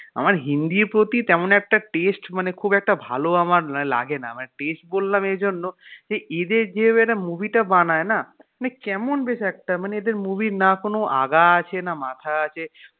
আমার হিন্দির প্রতি তেমন একটা taste মানে খুব একটা ভালো আমার লাগেনা মানে taste বললাম এই জন্য যে এদের যে একটা movie টা বানায় না মানে কেমন বেশ একটা মানে এদের movie এর না কোনো আগা আছে না মাথা আছে.